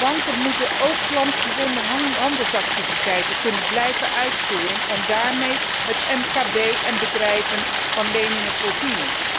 Banken moeten ook klantgebonden handelsactiviteiten kunnen blijven uitvoeren en daarmee het MKB en bedrijven van leningen voorzien.